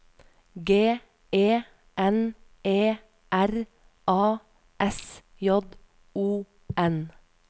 G E N E R A S J O N